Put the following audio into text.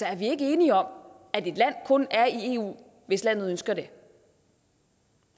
er vi ikke enige om at et land kun er i eu hvis landet ønsker det